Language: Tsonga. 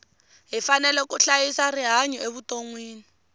hi fanele ku hlayisa rihanyu evutonwini